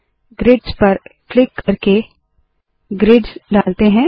grids पर click करके grids डालते है